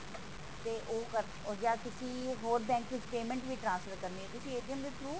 ਤੇ ਓਹ ਕਰ ਜਾ ਤੁਸੀਂ ਕਿਸੇ ਹੋਰ bank ਚ payment ਵੀ transfer ਕਰਨੀ ਤੁਸੀਂ ਦੇ through